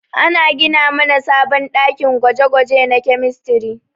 Ana gina mana sabon ɗakin gwaje-gwaje na kemistri.